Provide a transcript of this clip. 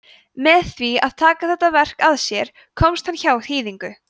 með því að taka þetta verk að sér komst hann hjá hýðingu